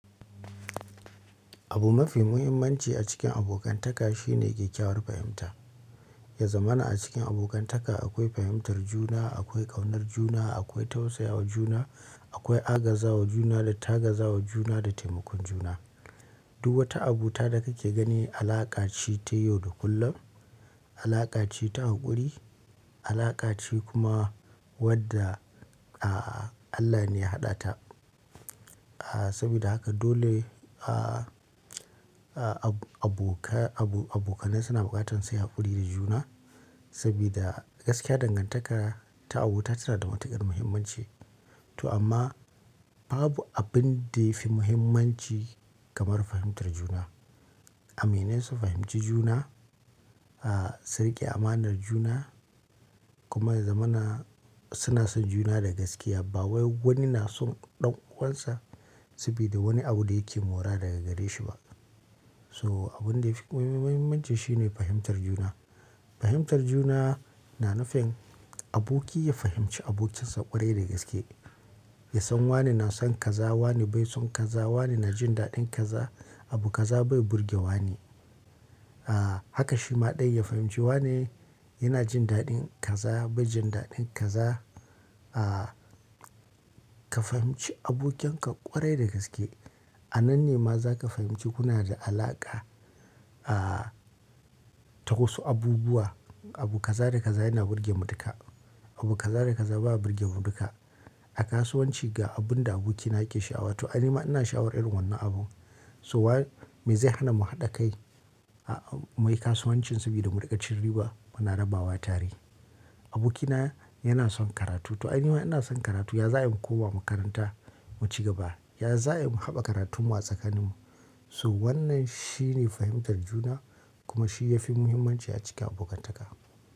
Abu mafi muhimmanci a cikin abokantaka shine kyakkyawar fahimta. Yazamana a cikin abokantaka akwai fahimtar juna, akwai ƙaunar juna, akwai tausayawa juna, akwai agazawa juna da tagazawa juna da taimakon juna. Duk wata abu ta da kake gani alaƙa ce ta yau da kullum, alaƙa ce ta haƙuri, alaƙa ce kuma wadda Allah ne ya haɗa ta. Saboda haka dole abokanai suna buƙatan sai haƙuri da juna, saboda gaskiya dangantaka ta abota tana da matuƙar muhimmanci. To amma babu abin da yafi muhimmanci kamar fahimtar juna. Aminin su fahimci juna, su riƙe amanar juna kuma zamana suna son juna da gaskiya. Ba wani na son ɗan uwansa saboda wani abu da yake mora daga gare shi ba. So abin da yafi muhimmanci shine fahimtar juna. Fahimtar juna na nufin aboki ya fahimci abokinsa ƙwarai da gaske. Ya san wane na son kaza, wane bai son kaza, wane na jin daɗin kaza, abu kaza bai burge wane. Haka shi ma ɗaya ya fahimci wane yana jin daɗin kaza bai jin daɗin kaza. Ka fahimci abokinka ƙwarai da gaske. A nan ne ma za ka fahimci kuna da alaƙa ta wasu abubuwa. Abu kaza da kaza yana burge mu duka. Abu kaza da kaza baya burge mu duka. A kasuwanci ga abun da abokina yake sha'awa to ani ma ina sha'awar irin wannan abu. So wane me zai hana mu haɗa kai mu yi kasuwanci saboda mu riƙa cin riba mu na rabawa tare. Abokina yana son karatu to ani ma ina son karatu ya za'a yi mu koma makaranta mu ci gaba. Ya za'a yi mu haɓa karatun mu a tsakanin mu. So wannan shine fahimtar juna kuma shi ya fi muhimmanci a cikin abokantaka.